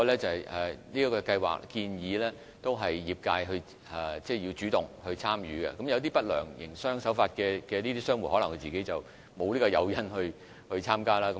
此外，計劃鼓勵業界主動參與，但一些營商手法不良的商戶可能沒有參加的誘因。